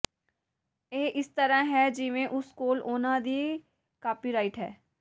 ਇਹ ਇਸ ਤਰ੍ਹਾਂ ਹੈ ਜਿਵੇਂ ਉਸ ਕੋਲ ਉਨ੍ਹਾਂ ਦੀ ਕਾਪੀਰਾਈਟ ਹੈ